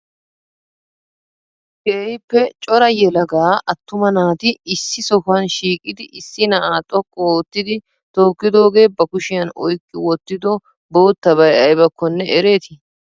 keehippe cora yeelaggaa attuma naati issi sohuwan shiqiddi issi naa'a xoqqu ottidi tokkidogee ba kushiyan oyqi wotido bottabay aybakkonne ereeti?